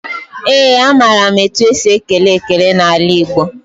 Ee, amaara m etu esi ekele ekele n'ala Igbo.